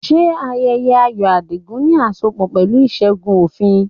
Ṣé ayẹyẹ ayọ̀ Adigun ní asopọ̀ pẹ̀lú ìṣẹ́gun òfin?